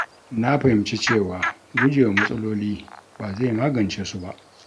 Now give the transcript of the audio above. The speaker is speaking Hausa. Na fahimci cewa gujewa matsaloli ba zai magance su ba.